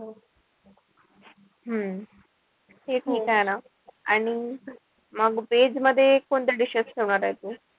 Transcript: हम्म ते ठीक आहे म्हणा. आणि मग veg मध्ये कोणत्या dishes ठेवणार आहे तू?